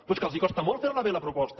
però és que els costa molt ferla bé la proposta